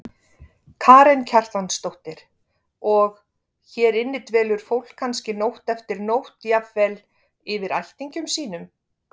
Karen Kjartansdóttir: Og, hér inni dvelur fólk kannski nótt eftir nótt jafnvel, yfir ættingjum sínum?